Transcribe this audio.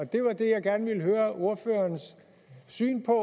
det var det jeg gerne ville høre ordførerens syn på